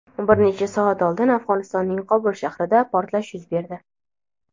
Bir necha soat oldin Afg‘onistonning Qobul shahrida portlash yuz berdi.